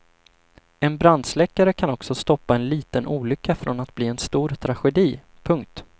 En brandsläckare kan också stoppa en liten olycka från att bli en stor tragedi. punkt